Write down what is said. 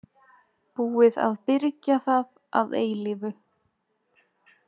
Búið að byrgja það að eilífu.